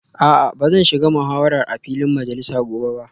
A'a ba zan shiga muhawarar a filin majalisa gobe ba